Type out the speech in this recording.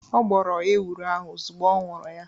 Ọ gbọrọ ewuro ahu ozugbọ ọ ñuru ya